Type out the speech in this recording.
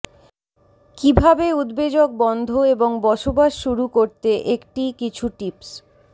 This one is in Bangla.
কিভাবে উদ্বেজক বন্ধ এবং বসবাস শুরু করতে একটি কিছু টিপস